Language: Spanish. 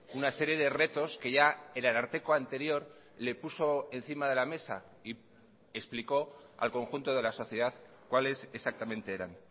una serie de retos que ya el ararteko anterior le puso encima de la mesa y explicó al conjunto de la sociedad cuáles exactamente eran